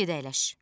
Get əyləş.